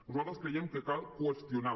nosaltres creiem que cal qüestionar